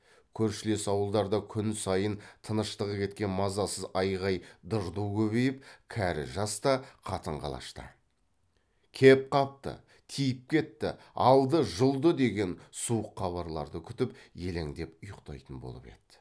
көршілес ауылдарда күн сайын тыныштығы кеткен мазасыз айғай дырду көбейіп кәрі жас та қатын қалаш та кеп қалды тиіп кетті алды жұлды деген суық хабарларды күтіп елеңдеп ұйықтайтын болып еді